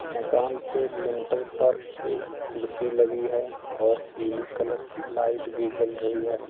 मकान पे लिंटर पर एक कुर्सी लगी है और पीले कलर की लाइट भी जल रही है।